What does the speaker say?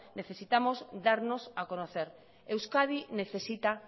necesitamos darnos a conocer euskadi necesita